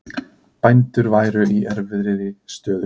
Bændur væru í erfiðri stöðu